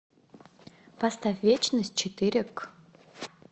поставь вечность четыре к